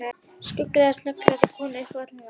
Skuggalega snöggklæddar konur upp um alla veggi.